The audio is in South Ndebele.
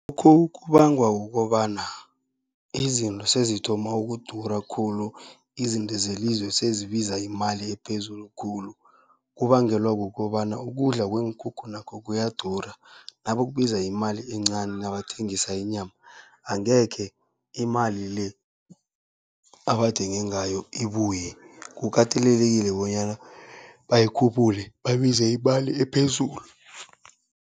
kubangwa kukobana izinto sezithoma ukudura khulu, izinto zelizwe sezibiza imali ephezulu khulu. Kubangelwa kukobana ukudla kweenkukhu nakho kuyadura nabakubiza imali encani nabathengisa inyama, angekhe imali le abathenge ngayo ibuye, kukatelelekile bonyana bayikhuphule babize imali ephezulu.